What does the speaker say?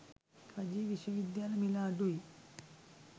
රජයේ විශ්ව විද්‍යාල මිල අඩුයි.